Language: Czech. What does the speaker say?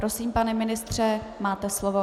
Prosím, pane ministře, máte slovo.